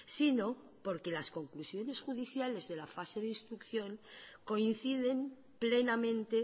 sino porque las conclusiones judiciales de la fase de instrucción coinciden plenamente